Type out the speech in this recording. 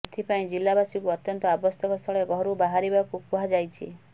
ସେଥିପାଇଁ ଜିଲ୍ଲାବାସୀଙ୍କୁ ଅତ୍ୟନ୍ତ ଆବଶ୍ୟକ ସ୍ଥଳେ ଘରୁ ବାହାରିବାକୁ କୁହାଯାଇଛି